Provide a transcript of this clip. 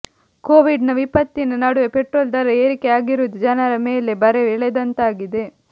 Covid ನ ವಿಪತ್ತಿನ ನಡುವೆ ಪೆಟ್ರೋಲ್ ದರ ಏರಿಕೆ ಆಗಿರುವುದು ಜನರ ಮೇಲೆ ಬರೆ ಎಳೆದಂತಾಗಿದೆ